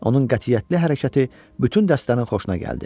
Onun qətiyyətli hərəkəti bütün dəstənin xoşuna gəldi.